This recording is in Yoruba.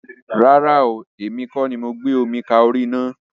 Rárá ooo, èmi kọ́ ni ó gbé omi ka orí ina.